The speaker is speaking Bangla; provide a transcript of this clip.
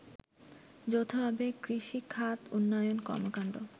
যৌথভাবে কৃষিখাত উন্নয়ন কর্মকান্ড